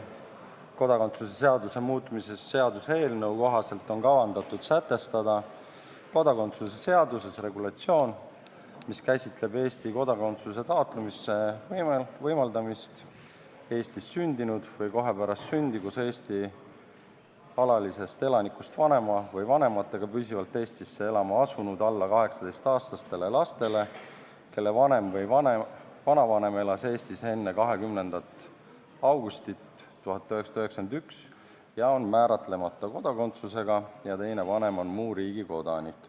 Kodakondsuse seaduse muutmise seaduse eelnõu kohaselt on kavandatud sätestada kodakondsuse seaduses regulatsioon, mis käsitleb Eesti kodakondsuse taotlemise võimaldamist Eestis sündinud või kohe pärast sündi koos Eesti alalisest elanikust vanema või vanematega püsivalt Eestisse elama asunud alla 18-aastastele lastele, kelle vanem või vanavanem elas Eestis enne 20. augustit 1991 ja on määratlemata kodakondsusega ning teine vanem on muu riigi kodanik.